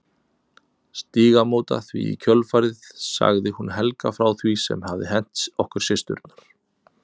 Stígamóta því í kjölfarið sagði hún Helga frá því sem hafði hent okkur systurnar.